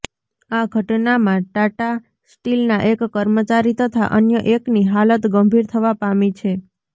આ ઘટનામાં ટાટા સ્ટીલના એક કર્મચારી તથા અન્ય એકની હાલત ગંભીર થવા પામી છે